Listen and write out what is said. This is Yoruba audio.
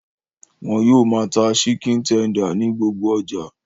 Wọ́n yóò máa ta síkìn tender ní gbogbo ọjà